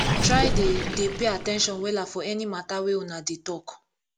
try dey dey pay at ten tion wella for any mata wey una dey talk